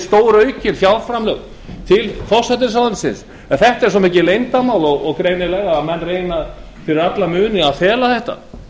stóraukin þetta er svo mikið leyndarmál og menn reyna greinilega fyrir alla muni að fela þetta